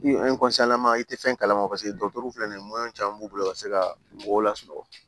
I i tɛ fɛn kalama paseke dɔtɛriw filɛ nin ye caman b'u bolo ka se ka mɔgɔw lasunɔgɔ